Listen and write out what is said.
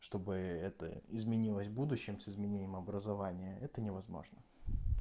что бы это изменилось будущем с изменением образование это не возможно